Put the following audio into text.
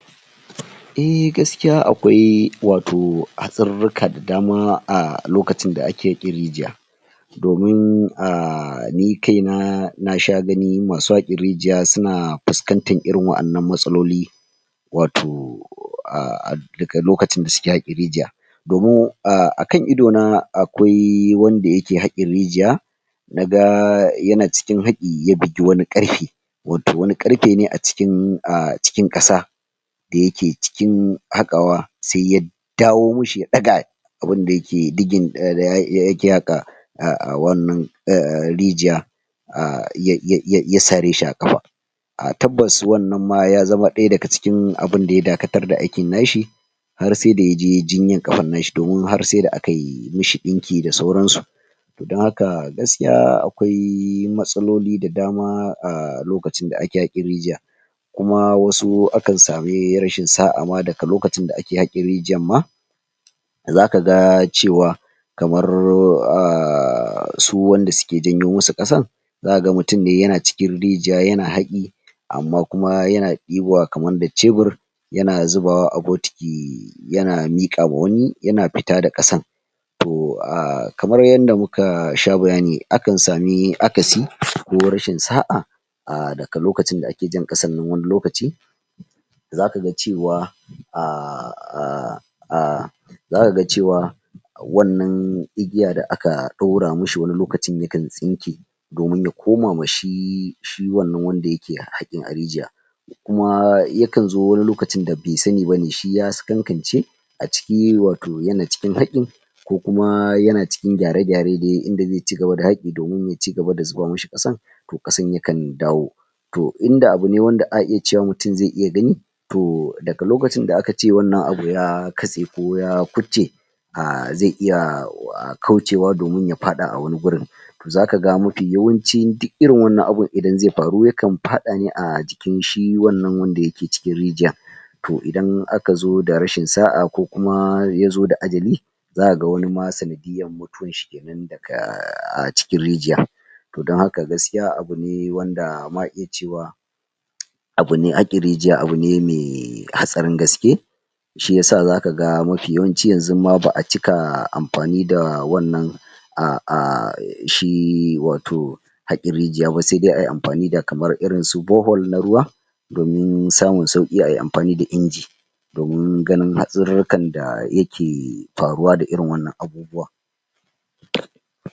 Eh gaskiya akwai wato hatsarurruka da dama ah lokacin da a ke yin rigiya doimn ah, ni kai na na sha gani masu haƙe rigiya suna fuskantan irin waƴannan matsaloli wato ah, daga lokacin da suke haƙe rigiya domin ah, a kan ido na akwai wanda yake haƙin rigiya naga yana cikin haƙi ya bugi wani ƙarfe wato wani ƙarfe ne a cikin ah, cikin ƙasa da yake cikin haƙawa sai ya sai ya dawo mi shi ya ɗaga abin da yake digging a da yake haƙa a wannan ah, rigiya ah ya, ya, ya, ya sare shi a ƙafa a tabbas wannan ma ya zama ɗaya daga cikin abun da ya dakatar da aikin na shi har sai da yaje yayi jinyar ƙafan na shi, domin sai da akai mishi ɗinki da sauran su don haka gaskiya akwai matsaloli da dama a lokacin da ake haƙin rigiya kuma wasu akan sami rashin sa'a ma daga lokacin da ake haƙin rigiyan ma zaka ga cewa kamar ah, su wanda suke janyo musu ƙasan zaka ga mutun ne yana cikin rigiya yana haƙi amma kuma yana ɗibowa kaman da cebur yana zubawa a botiki yana miƙawa wani yana fita da ƙasan to ah, kamar yadda muka sha bayani akan sami akasi ko rashin sa'a ah daga lokacin da ake jan ƙasan nan wani lokaci zaka ga cewa ah, ah, ah zaka ga cewa wannan igiya da aka ɗaura mishi wani lokacin yakan tsinke domin ya koma ma shi, shi wannan wanda yake haƙin a rigiya kuma yakan zo wani lokacin da be sani bane shi ya sakankance a ciki wato yana cikin haƙin ko kuma yana cikin gyare-gyare de inda je cigaba da haƙi, domin ya cigaba da zuba mishi ƙasan ƙasan yakan dawo to inda abu ne wanda a iya cewa mutun zai iya gani to daga lokacin da aka ce wannan abu ya katse ko ya kubce ah zai iya kaucewa domin ya faɗa a wani gurin to zaka ga mafi yawancin duk irin wannan abun idan zai faru yakan faɗa ne a jikin shi wannan wanda yake cikin rigiya to idan aka zo da rashin sa'a ko kuma yazo da ajali zaka ga wani ma sanadiyyar mutuwan shi kenan daga ah, cikin rigiya to dan haka gaskiya abu ne wanda ma iya cewa abu ne haƙin rigiya, abu ne mai hatsarin gaske shi yasa zaka ga mafi yawanci yanzun ma ba'a cika amfani da wannan ah, ah, shi wato haƙin rigiya ba sai dai ayi amfani da kaman irin su bore-hole na ruwa domin samun sauƙi a yi amfani da inji domin ganin hatsarurrukan da yake faruwa da irin wannan abubuwa